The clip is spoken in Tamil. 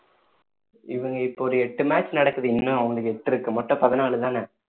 இவங்க இப்போ ஒரு எட்டு match நடக்குது இன்னும் எட்டு இருக்கு மொத்தம் பதினாலுதானே